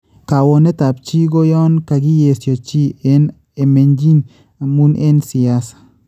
Kawonetaab chi ko yon kakiyeesyo chi ene emenyiin amu n eng siasa